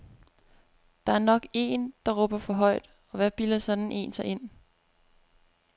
Der er nok én, der råber for højt, og hvad bilder sådan én sig ind.